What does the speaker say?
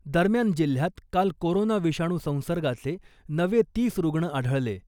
दरम्यान , जिल्ह्यात काल कोरोना विषाणू संसर्गाचे नवे तीस रुग्ण आढळले .